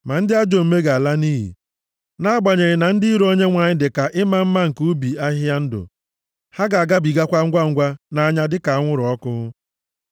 Ma ndị ajọ omume ga-ala nʼiyi. Nʼagbanyeghị na ndị iro Onyenwe anyị dịka ịma mma nke ubi ahịhịa ndụ, ha ga-agabigakwa ngwangwa nʼanya dịka anwụrụ ọkụ.